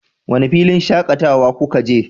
wane filin shakatawa kuka je?